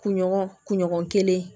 Kunɲɔgɔn kunɲɔgɔn kelen